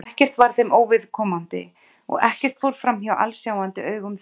Ekkert var þeim óviðkomandi og ekkert fór framhjá alsjáandi augum þeirra.